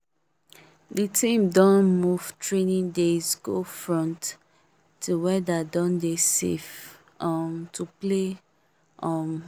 the team don move training days go front till weather don dey safe um to play um